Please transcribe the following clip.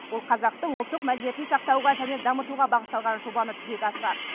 ол қазақтың ұлттық мәдениетін сақтауға және дамытуға бағытталған жобаны жүзеге асырады